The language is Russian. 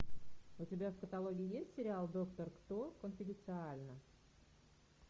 у тебя в каталоге есть сериал доктор кто конфиденциально